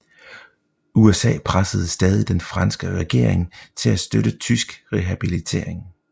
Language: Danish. USA pressede stadig den franske regering til at støtte tysk rehabilitering